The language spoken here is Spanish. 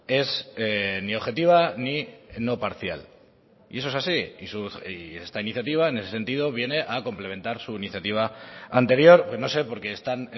es ni objetiva ni no parcial y eso es así y esta iniciativa en ese sentido viene a complementar su iniciativa anterior no sé porque están